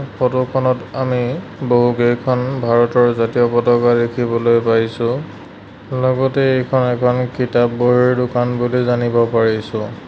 Photo খনত আমি বহুকেইখন ভাৰতৰ জাতীয় পতাকা দেখিবলৈ পাইছোঁ লগতে এইখন এখন কিতাপ-বহীৰ দোকান বুলি জানিব পাৰিছোঁ।